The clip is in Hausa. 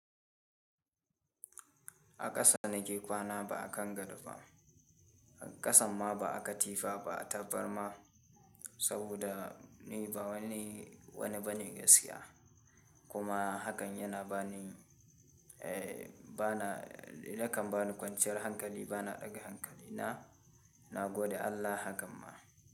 A ƙasa na ke kwana ba a kan gadoba, ƙasan ma ba a katifa ba a tabarma saboda ni ba wani, wani bane gaskiya. Kuma hakan yana bani, eh bana, yakan bani kwanciyar hankali bana ɗaga hankali na, na gode Allah hakan ma.